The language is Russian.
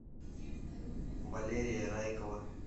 валерия райкова